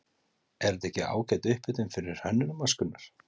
Er þetta ekki ágæt upphitun fyrir Hönnunarmars, Gunnar?